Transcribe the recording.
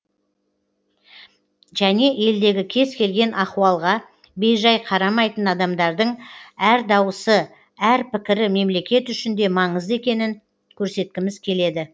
және елдегі кез келген ахуалға бейжай қарамайтын адамдардың әр дауысы әр пікірі мемлекет үшін де маңызды екенін көрсеткіміз келеді